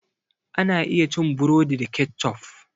Ana iya cin burodi da keccof.